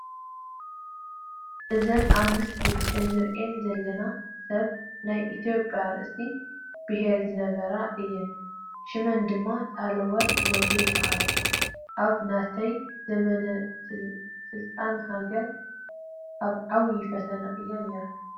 እዘን ኣብ ምስሊ ንሪአን ዘለና ሰብ ናይ ኢትዮጵያ ርእሰ ብሄር ዝነበራ እየን፡፡ ሽመን ድማ ሳህለወርቅ ዘውዴ ይበሃል፡፡ ኣብ ናተን ዘመነ ስልጣን ሃገርና ኣብ ዓብዪ ፈተና እያ ነይራ፡፡